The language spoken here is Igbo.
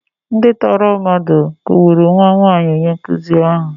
Ndị tọọrọ mmadụ kụgburu nwa nwaanyi onye nkụzi ahụ.